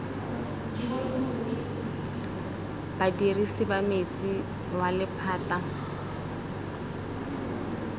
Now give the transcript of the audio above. badirisi ba metsi wa lephata